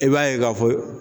I b'a ye k'a fɔ